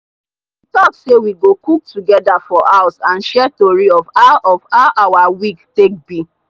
we talk say we go cook togeda for house and share tori of how of how our week take be.